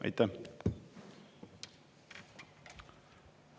Aitäh!